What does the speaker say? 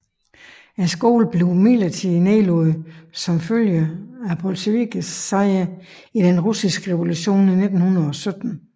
Skolen blev imidlertid nedlagt som følge af bolsjevikkernes sejr i den russiske revolution i 1917